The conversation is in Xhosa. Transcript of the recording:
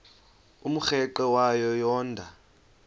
umrweqe wayo yoonda